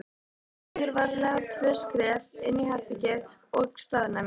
Hann stígur varlega tvö skref inn í herbergið og staðnæmist.